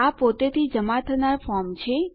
આ પોતેથી જમા થનાર ફોર્મ છે